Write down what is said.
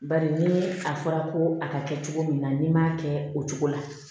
Bari ni a fɔra ko a ka kɛ cogo min na n'i m'a kɛ o cogo la